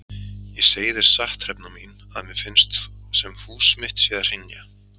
Ég segi þér satt Hrefna mín að mér finnst sem hús mitt sé að hrynja.